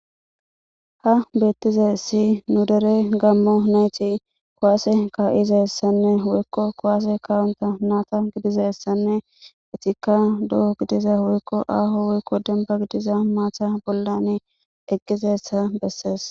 ha beettize si nu derey gammo nayti kuwaase ka7izaessanne woykko kowaase kawonta naata gidizessanne itikka do7o gidiza woykko aaho woykko demba gidiza maata bollani eqqizeessa bessees